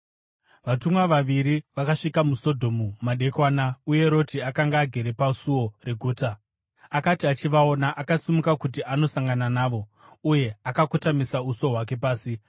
Vatumwa vaviri vakasvika muSodhomu madekwana, uye Roti akanga agere pasuo reguta. Akati achivaona, akasimuka kuti andosangana navo uye akakotamisa uso hwake pasi.